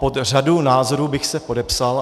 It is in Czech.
Pod řadu názorů bych se podepsal.